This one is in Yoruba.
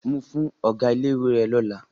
Mu fún ọ̀gá ilé-ìwé rẹ lọ́la.